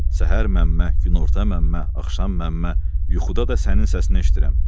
Səhər məmmə, günorta məmmə, axşam məmmə, yuxuda da sənin səsini eşidirəm.